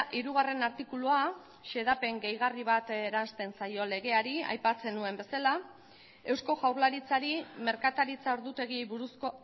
hirugarren artikulua xedapen gehigarri bat eransten zaio legeari aipatzen nuen bezala eusko jaurlaritzari merkataritza ordutegiei buruzko